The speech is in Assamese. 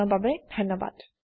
দৰ্শন দিয়া বাবে ধণ্যবাদ